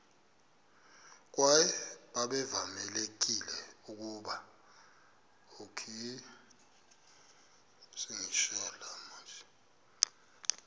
kwaye babevamelekile ukuba